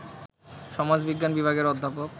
সমাজবিজ্ঞান বিভাগের অধ্যাপক